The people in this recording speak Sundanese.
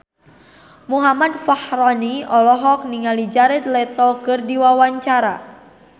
Muhammad Fachroni olohok ningali Jared Leto keur diwawancara